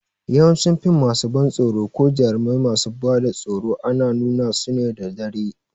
Yawancin fim masu ban tsoro ko jarumai masu bada tsoro ana suna su ne da dare